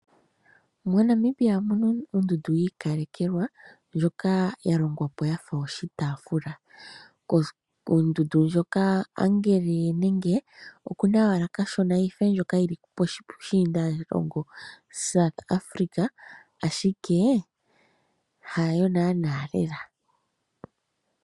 MoNamibia omuna ondundu yi ikalekelwa ndyoka ya longwa po yafa oshitafula, ondundu ndjoka okuna kashona yife ndjoka yili puushinda longa South Africa ashike hayo nana lela.